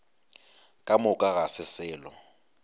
ka moka ga se selo